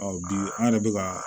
bi an yɛrɛ bɛ ka